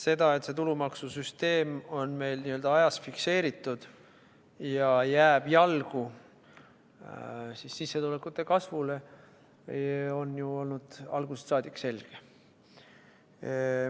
See, et see tulumaksusüsteem on meil ajas fikseeritud ja jääb jalgu sissetulekute kasvule, on ju olnud algusest saadik selge.